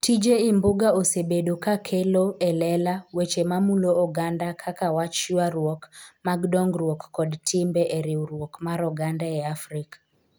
Tije Imbuga osebedo ka kelo e lela weche mamulo oganda kaka wach ywaruok mag dongruok kod timbe e riwruok mar oganda e Afrika.